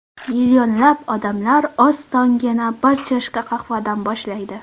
Millionlab odamlar o‘z tongini bir chashka qahvadan boshlaydi.